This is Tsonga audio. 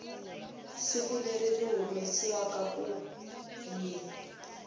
siku leri yi humesiwaku hi